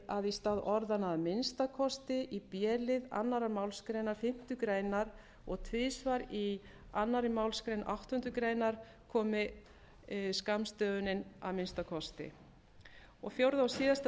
að í stað orðanna að minnsta kosti í b lið annarrar málsgreinar fimmtu greinar og tvisvar í annarri málsgrein áttundu grein komi að minnsta kosti fjórða og síðasta